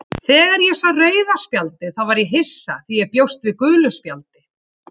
Þegar ég sá rauða spjaldið þá var ég hissa því ég bjóst við gulu spjaldi,